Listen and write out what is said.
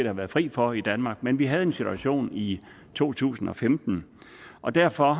har været fri for i danmark men vi havde en situation i to tusind og femten og derfor